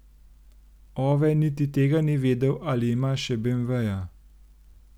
Ove niti tega ni vedel, ali ima še beemveja.